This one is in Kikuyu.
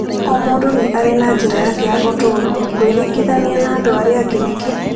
O mũndũ arĩ na njĩra yake ya ũtũũro, gwĩringithania na andũ arĩa angĩ nĩkĩ?